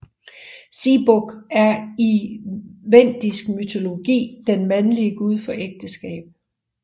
Siebog er i vendisk mytologi den mandlige gud for ægteskab